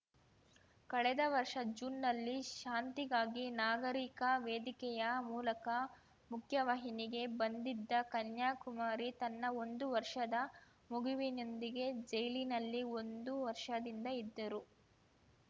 ಕಳೆದ ವರ್ಷ ಜೂನ್‌ನಲ್ಲಿ ಶಾಂತಿಗಾಗಿ ನಾಗರೀಕ ವೇದಿಕೆಯ ಮೂಲಕ ಮುಖ್ಯವಾಹಿನಿಗೆ ಬಂದಿದ್ದ ಕನ್ಯಾಕುಮಾರಿ ತನ್ನ ಒಂದು ವರ್ಷದ ಮಗುವಿನೊಂದಿಗೆ ಜೈಲಿನಲ್ಲಿ ಒಂದು ವರ್ಷದಿಂದ ಇದ್ದರು